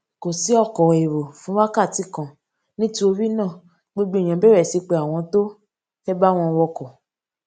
kò sí ọkò èrò fún wákàtí kan nítorí náà gbogbo èèyàn bèrè sí pe àwọn tó fé bá wọn wọkò